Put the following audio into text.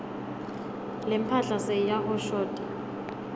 lemphahla seyiyahoshota